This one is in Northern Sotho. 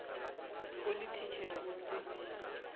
o le thitšhere o se